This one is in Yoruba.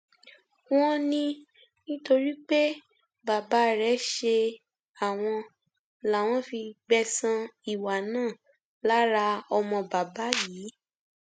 wọn ní nítorí pé bàbá rẹ ṣe àwọn làwọn fi gbẹsan ìwà náà lára ọmọ bàbá yìí